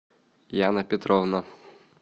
яна петровна